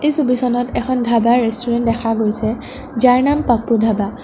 এই ছবিখনত এখন ধাৱাৰ ৰেষ্টুৰেণ্ট দেখা গৈছে যাৰ নাম পাপু ধাৱা ।